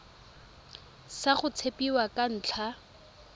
sa go tshepiwa ka ntlha